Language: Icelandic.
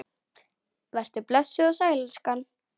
Vertu blessuð og sæl, elskan!